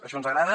això ens agrada